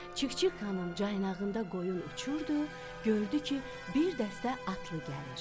Çik-çik xanım caynağında qoyun uçurdu, gördü ki, bir dəstə atlı gəlir.